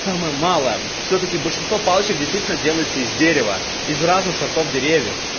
самое малое всё-таки большинство палочек действительно делается из дерева из разных сортов деревьев